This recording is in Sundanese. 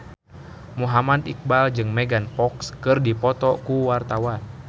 Muhammad Iqbal jeung Megan Fox keur dipoto ku wartawan